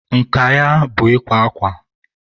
nka ya bụ ikwa akwa.